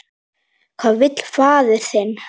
Hvað vill faðir þinn?